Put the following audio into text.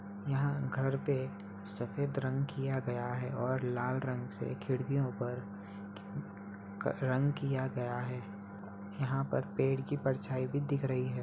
यहाँ घर पर सफेद रंग किया गया है और लाल रंग से खिड़कियों पर रंग किया गया है | यहाँ पेड़ की परझाई भी दिख रही है ।